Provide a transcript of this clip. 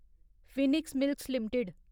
Phoenix Mills limited